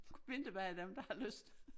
Vinterbade dem der har lyst